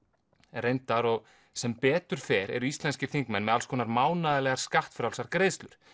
reyndar og sem betur fer eru íslenskir þingmenn með alls konar mánaðarlegar skattfrjálsar greiðslur